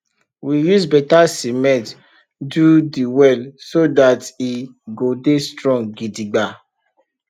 we use beta siment do de well so dat e go dey strong gidigba